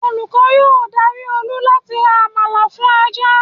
Olúkọ́ yóò dari Olú láti rò àmàlà fún ajá